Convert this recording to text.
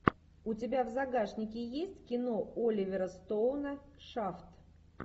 у тебя в загашнике есть кино оливера стоуна шафт